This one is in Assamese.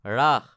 ৰাস